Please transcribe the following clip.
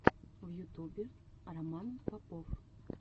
в ютубе роман попов